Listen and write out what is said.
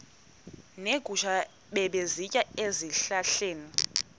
neegusha ebezisitya ezihlahleni